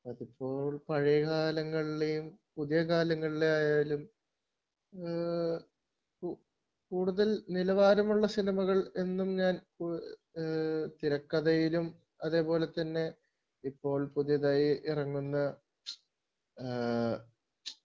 അതിപ്പോ പഴയ കാലങ്ങളിലെയും പുതിയ കാലങ്ങളിലെ ആയാലും ആഹ്ഹ് കൂടുതൽ നിലവാരമുള്ള സിനിമകൾ എന്നും ഞാൻ ആഹ്ഹ് തിരക്കഥയിലും അതേപോലത്തന്നെ ഇപ്പോൾ പുതിയതായി ഇറങ്ങുന്ന ആഹ്ഹ്